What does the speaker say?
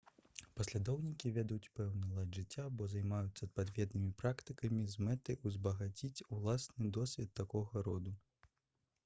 паслядоўнікі вядуць пэўны лад жыцця або займаюцца адпаведнымі практыкамі з мэтай узбагаціць уласны досвед такога роду